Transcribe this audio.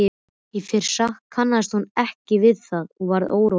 Í fyrstu kannaðist hún ekki við það og varð óróleg.